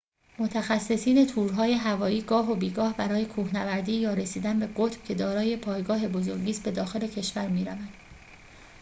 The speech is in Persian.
متخصصین تورهای هوایی گاه و بیگاه برای کوهنوردی یا رسیدن به قطب که دارای پایگاه بزرگی ست به داخل کشور می‌روند